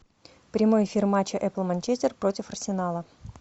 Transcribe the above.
прямой эфир матча апл манчестер против арсенала